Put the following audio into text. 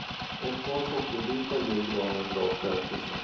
Ett par sockerbitar ger granen bra stärkelse.